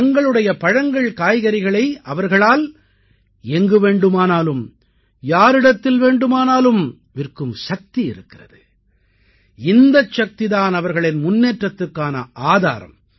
தங்களுடைய பழங்கள்காய்கறிகளை அவர்களால் எங்கு வேண்டுமானாலும் யாரிடத்தில் வேண்டுமானாலும் விற்கும் சக்தி இருக்கிறது இந்தச் சக்தி தான் அவர்களின் முன்னேற்றத்துக்கான ஆதாரம்